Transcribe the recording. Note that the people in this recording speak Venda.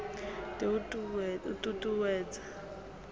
d o t ut uwedza